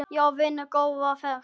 Já vinur, góða ferð!